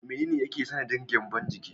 Menene yake sanadin gyambon ciki?